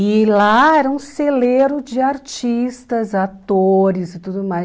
E lá era um celeiro de artistas, atores e tudo mais.